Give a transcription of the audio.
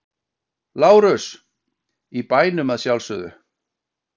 LÁRUS: Í bænum að sjálfsögðu!